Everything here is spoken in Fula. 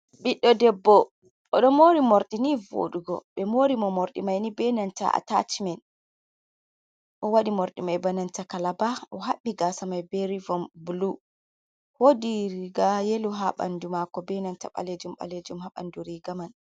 Ɓiɗdo debbo oɗo mori morɗi ni vodugo ɓe mori mo morɗi mai ni benanta a tachmen, o waɗi mordi mai benanta kalaba o haɓɓi gasa mai be rivon blu wodi riga yelo ha ɓandu mako benanta ɓalejum ɓalejum ha ɓandu riga man.